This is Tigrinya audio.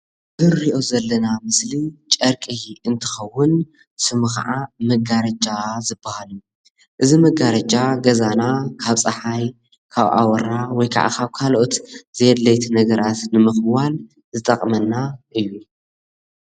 እዚ እንርኦ ዘለና ምስሊ ጨርቂ እንትከውን ስሙ ከዓ መጋረጃ ዝባሃል እዩ፡፡ እዚ መጋረጃ ገዛና ካብ ፀሓይ ካብ አወራ ወይ ካዓ ካብ ካለኦት ዘይ አድለይቲ ነገራት ንምክዋል ዝጥቅመና እዩ፡፡